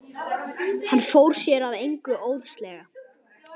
Hann fór sér að engu óðslega.